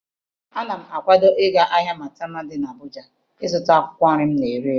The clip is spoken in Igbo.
Ana m akwado ịga n'ahịa Maitama dị n'Abụja ịzụta akwụkwọ nri m ga-ere ere.